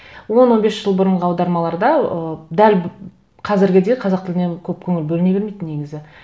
он он бес жыл бұрынғы аудармаларда ы дәл қазіргідей қазақ тіліне көп көңіл бөліне бермейтін негізі